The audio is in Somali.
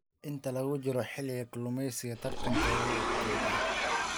Inta lagu jiro xilliga kalluumeysiga, tartanka wuu kordhaa.